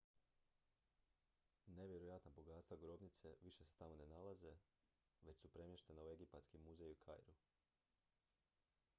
nevjerojatna bogatstva grobnice više se tamo ne nalaze već su premještena u egipatski muzej u kairu